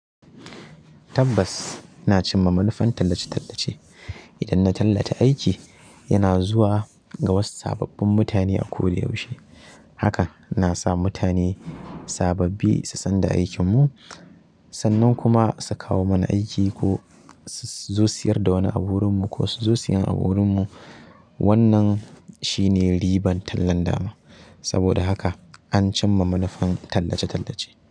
Tabbas, ina cimma manufan tallace-tallace. Idan na tallata aiki, yana zuwa ga wasu sababbin mutane a koda yaushe. Haka na sa mutane sababbi su san da aikinmu, sannan kuma su kawo mana aiki ko su zo siyar da wani abu wurinmu ko su zo siyan abu wurinmu. Wannan shine ribar tallan dama. Saboda haka an cimma manufan tallace-tallace.